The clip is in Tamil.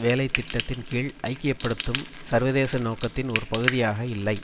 வேலை திட்டத்தின் கீழ் ஐக்கிய படுத்தும் சர்வதேச நோக்கத்தின் ஒரு பகுதியாக இல்லை